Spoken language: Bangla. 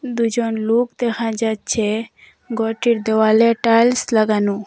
দুজন লুক দেখা যাচচে গরটির দেওয়ালে টাইলস লাগানু।